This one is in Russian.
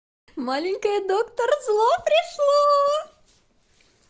маленькая доктор зло пришло